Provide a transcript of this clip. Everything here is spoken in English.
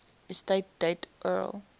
estate date url